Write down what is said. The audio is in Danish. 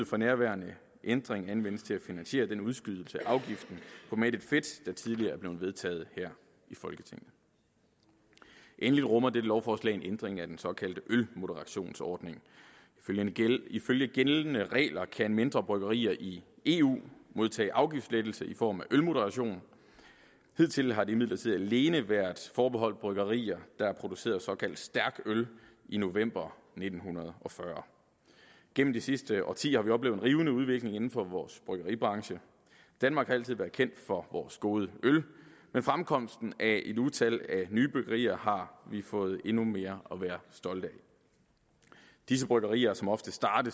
fra nærværende ændring anvendes til at finansiere den udskydelse af afgiften på mættet fedt der tidligere er blevet vedtaget her i folketinget endelig rummer dette lovforslag en ændring af den såkaldte ølmoderationsordning ifølge gældende ifølge gældende regler kan mindre bryggerier i eu modtage afgiftslettelse i form af ølmoderation hidtil har det imidlertid alene været forbeholdt bryggerier der har produceret såkaldt stærk øl i november nitten fyrre gennem de sidste årtier har vi oplevet en rivende udvikling inden for vores bryggeribranche danmark har altid været kendt for vores gode øl og med fremkomsten af et utal af nye bryggerier har vi fået endnu mere at være stolte af disse bryggerier som ofte starter